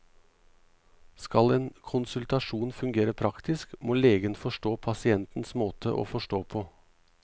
Skal en konsultasjon fungere praktisk, må legen forstå pasientens måte å forstå på.